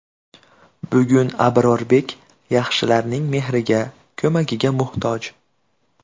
Bugun Abrorbek yaxshilarning mehriga, ko‘magiga muhtoj.